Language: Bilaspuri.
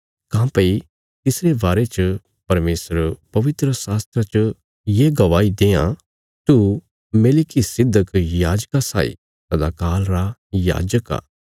काँह्भई तिसरे बारे च परमेशर पवित्रशास्त्रा च ये गवाही देआं तू मेलिकिसिदक याजका साई सदा काल रा याजक आ